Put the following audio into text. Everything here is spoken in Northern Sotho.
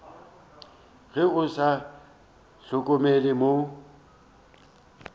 ge o sa hlokomele mo